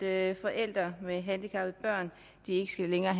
at forældre med et handicappet barn ikke længere